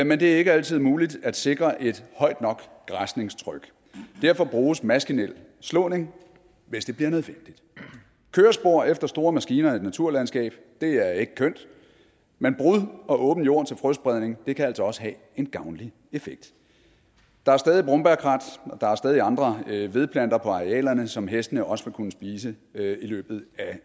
men det er ikke altid muligt at sikre et højt nok græsningstryk derfor bruges maskinel slåning hvis det bliver nødvendigt kørespor efter store maskiner i et naturlandskab er ikke kønt men brud og åben jord til frøspredning kan altså også have en gavnlig effekt der er stadig brombærkrat og der er stadig andre vedplanter på arealerne som hestene også vil kunne spise i løbet